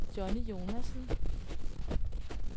Johnny Jonassen